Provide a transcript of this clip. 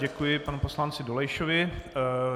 Děkuji panu poslanci Dolejšovi.